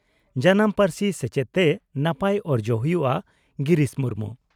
ᱡᱟᱱᱟᱢ ᱯᱟᱹᱨᱥᱤ ᱥᱮᱪᱮᱫ ᱛᱮ ᱱᱟᱯᱟᱭ ᱚᱨᱡᱚ ᱦᱩᱭᱩᱜᱼᱟ ᱺ ᱜᱤᱨᱤᱥ ᱢᱩᱨᱢᱩ